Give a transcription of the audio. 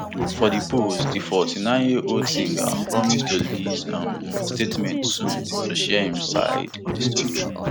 for di post di forty-nineyearold singer promise to release um a statement soon to share im side of di tori